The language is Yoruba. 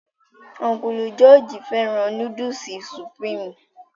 Ọ́nkùlù jọọji fẹ́ràn núdùsì supurimi